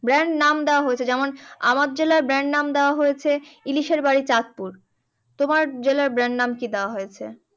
Brand নাম দেওয়া হয়েছে, যেমন আমার জেলার brand নাম দেওয়া হয়েছে ইলিশের বাড়ি চাঁদপুর। তোমার জেলার brand নাম কি দেওয়া হয়েছে?